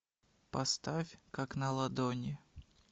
поставь как на ладони